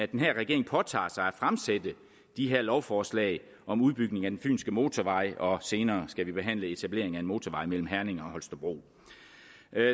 den her regering påtager sig at fremsætte det her lovforslag om udbygning af den fynske motorvej og senere skal vi behandle et etableringen af en motorvej mellem herning og holstebro